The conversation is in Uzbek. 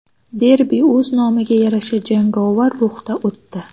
Derbi o‘z nomiga yarasha jangovar ruhda o‘tdi.